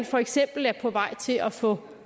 for eksempel er på vej til at få